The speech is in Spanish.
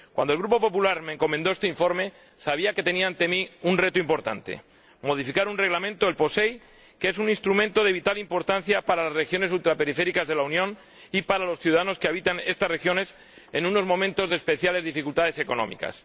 Cuando el Grupo Popular me encomendó este informe, sabía que tenía ante mí un reto importante modificar un Reglamento, el POSEI, que es un instrumento de vital importancia para las regiones ultraperiféricas de la Unión y para los ciudadanos que habitan estas regiones, en unos momentos de especiales dificultades económicas.